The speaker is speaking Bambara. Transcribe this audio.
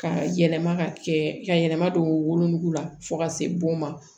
Ka yɛlɛma ka kɛ ka yɛlɛma don wolonugu la fo ka se bon ma